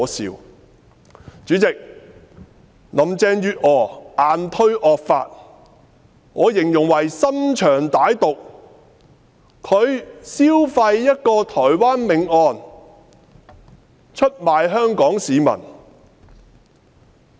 代理主席，林鄭月娥硬推惡法，我形容為心腸歹毒，她消費一宗台灣命案，出賣香港市民。